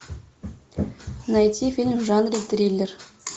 найти фильм в жанре триллер